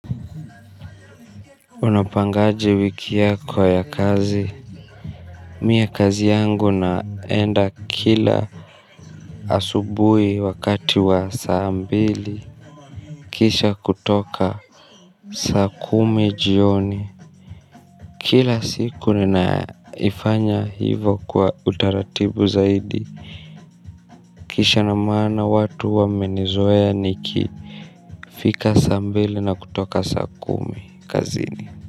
Unapangaje wiki yako ya kazi mimi kazi yangu naenda kila asubuhi wakati wa saa mbili kisha kutoka saa kumi jioni kila siku ninaifanya hivyo kwa utaratibu zaidi kisa na maana watu wamenizoea niki fika saa mbili na kutoka saa kumi kazini.